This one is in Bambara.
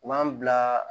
U b'an bila